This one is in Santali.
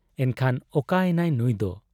ᱮᱱᱠᱷᱟᱱ ᱚᱠᱟ ᱮᱱᱟᱭ ᱱᱩᱸᱭ ᱫᱚ ?